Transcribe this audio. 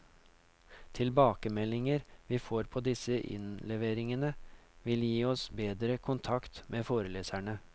Tilbakemeldinger vi får på disse innleveringene vil gi oss bedre kontakt med foreleserne.